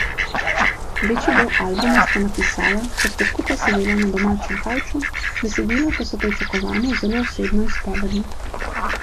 Večji del albuma sta napisala, ko sta skupaj sedela na domačem kavču, besedila pa so pričakovano zelo osebno izpovedna.